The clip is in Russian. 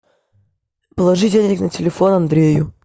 положи денег на телефон андрею